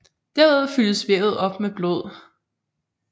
Derved fyldes vævet op med blod